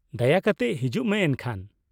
ᱫᱟᱭᱟ ᱠᱟᱛᱮ, ᱦᱤᱡᱩᱜ ᱢᱮ ᱮᱱᱠᱷᱟᱱ ᱾